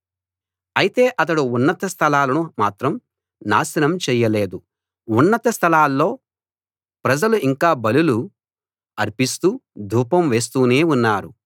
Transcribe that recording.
అయితే అతడు ఉన్నత స్థలాలను మాత్రం నాశనం చెయ్యలేదు ఉన్నత స్థలాల్లో ప్రజలు ఇంకా బలులు అర్పిస్తూ ధూపం వేస్తూనే ఉన్నారు